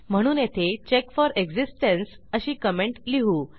म्हणून येथे check for existence अशी कमेंट लिहू